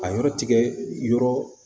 A yɔrɔ tigɛ yɔrɔ